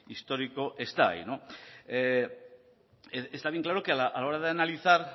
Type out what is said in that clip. histórico está ahí está bien claro que a la hora de analizar